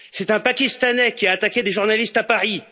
C'est un Pakistanais qui a attaqué des journalistes à Paris.